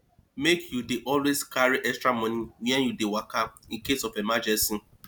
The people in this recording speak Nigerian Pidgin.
make you dey always carry extra money wen you dey waka in case of emergency